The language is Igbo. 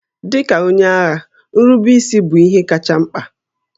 Dị ka onye agha, nrubeisi bụ ihe kacha mkpa